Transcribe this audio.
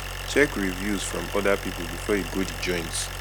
check reviews from oda pipo before you go di joint